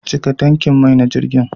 Cika tankin mai na jirgin.